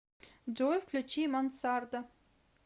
джой включи мансарда